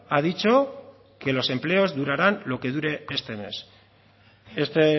ha dicho que los empleos durarán lo que dure este mes este